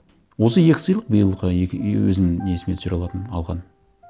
осы екі сыйлық биылғы и өзімнің есіме түсіре алатын алған